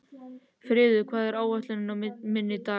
Friður, hvað er á áætluninni minni í dag?